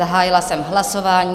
Zahájila jsem hlasování.